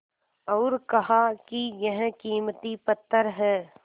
और कहा कि यह कीमती पत्थर है